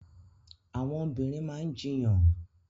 Àwọn obìnrin maa ń jíyàn